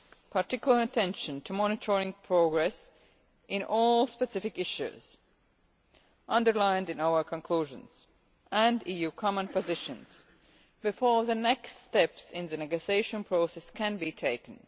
particular attention to monitoring progress on all the specific issues underlined in our conclusions and the EU common positions, before the next steps in the negotiation process can be taken.